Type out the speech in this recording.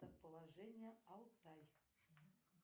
положение алтай